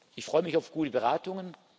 Ich freue mich auf gute Beratungen.